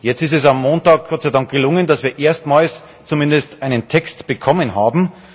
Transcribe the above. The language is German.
Jetzt ist es am Montag Gott sei Dank gelungen, dass wir erstmals zumindest einen Text bekommen haben.